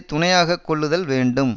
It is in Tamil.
துணையாக கொள்ளுதல் வேண்டும்